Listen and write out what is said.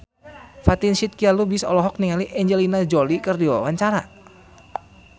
Fatin Shidqia Lubis olohok ningali Angelina Jolie keur diwawancara